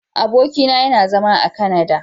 Abokin na yana zama a " Canada".